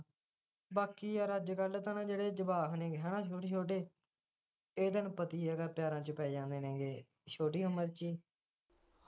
ਬਾਕੀ ਯਾਰ ਅੱਜਕੱਲ ਤਾਂ ਨਾ ਜਿਹੜੇ ਜਵਾਕ ਨੇ ਹੈਨਾ ਛੋਟੇ ਇਹ ਤੈਨੂੰ ਪਤਾ ਈ ਹੈਗਾ ਪਿਆਰਾ ਚ ਪੈ ਜਾਂਦੇ ਹੈਗੇ ਛੋਟੀ ਉਮਰ ਚ ਈ।